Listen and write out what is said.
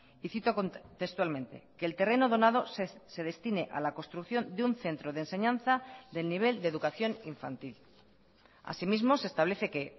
y cito textualmente que el terreno donado se destine a la construcción de un centro de enseñanza del nivel de educación infantil así mismo se establece que